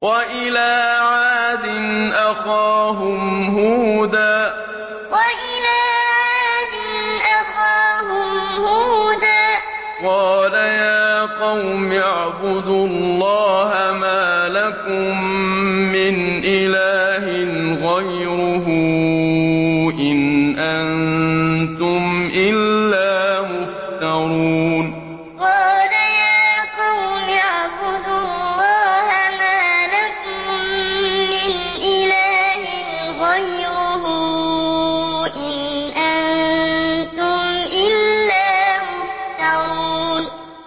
وَإِلَىٰ عَادٍ أَخَاهُمْ هُودًا ۚ قَالَ يَا قَوْمِ اعْبُدُوا اللَّهَ مَا لَكُم مِّنْ إِلَٰهٍ غَيْرُهُ ۖ إِنْ أَنتُمْ إِلَّا مُفْتَرُونَ وَإِلَىٰ عَادٍ أَخَاهُمْ هُودًا ۚ قَالَ يَا قَوْمِ اعْبُدُوا اللَّهَ مَا لَكُم مِّنْ إِلَٰهٍ غَيْرُهُ ۖ إِنْ أَنتُمْ إِلَّا مُفْتَرُونَ